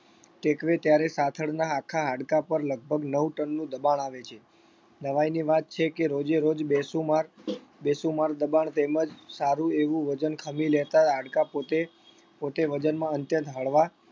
ટેકવે ત્યારે સાથળના આખા હાડકા પર લગભગ નવ ton નું દબાણ આવે છે. નવાઈની વાત છે કે રોજેરોજ બેશુમાર બેશુમાર દબાણ તેમજ સારું એવું વજન ખમી લેતા હાડકા પોતે પોતે વજનમાં અત્યંત હળવા